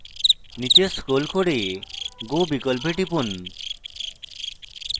নীচে scroll করে go বিকল্পে টিপুন